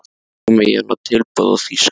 Þó hafa komið í hana tilboð í Þýskalandi.